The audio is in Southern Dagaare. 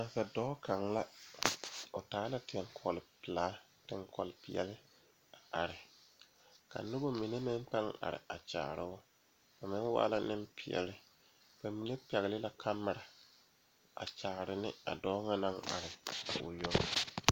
Nasaadɔɔ kaŋa la ane bibiiri la ka bondire a kabɔɔti poɔ ka talaare be a be poɔ kaa kodo vaare meŋ be a be kaa bie ane pɔge naŋ are o yoŋ.